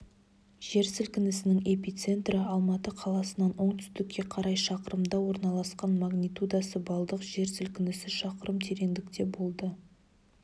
жер сілкінісінің эпицентрі алматы қаласынан оңтүстікке қарай шақырымда ораласқан магнитудасы балдық жер сілкінісі шақырым тереңдікте болды